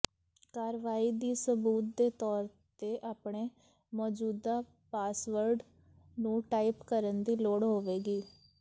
ਕਾਰਵਾਈ ਦੀ ਸਬੂਤ ਦੇ ਤੌਰ ਤੇ ਆਪਣੇ ਮੌਜੂਦਾ ਪਾਸਵਰਡ ਨੂੰ ਟਾਈਪ ਕਰਨ ਦੀ ਲੋੜ ਹੋਵੇਗੀ